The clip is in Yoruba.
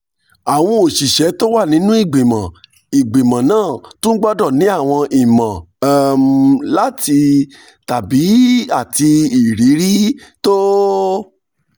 àwọn òṣìṣẹ́ tó wà nínú ìgbìmọ̀ ìgbìmọ̀ náà tún gbọ́dọ̀ ní àwọn ìmọ̀ um àti ìrírí um tó